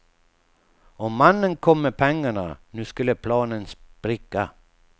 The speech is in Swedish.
Om mannen kom med pengarna nu skulle planen spricka.